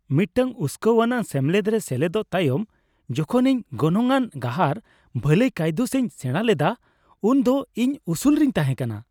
ᱢᱤᱫᱴᱟᱝ ᱩᱥᱠᱟᱹᱣᱟᱱᱟᱜ ᱥᱮᱢᱞᱮᱫ ᱨᱮ ᱥᱮᱞᱮᱫᱚᱜ ᱛᱟᱭᱚᱢ, ᱡᱚᱠᱷᱚᱱ ᱤᱧ ᱜᱚᱱᱚᱝ ᱟᱱ ᱜᱟᱦᱟᱨ ᱵᱷᱟᱹᱞᱟᱹᱭ ᱠᱟᱹᱭᱫᱩᱥ ᱤᱧ ᱥᱮᱲᱟ ᱞᱮᱫᱟ ᱩᱱ ᱫᱚ ᱤᱧ ᱩᱥᱩᱞ ᱨᱤᱧ ᱛᱟᱦᱮᱸ ᱠᱟᱱᱟ ᱾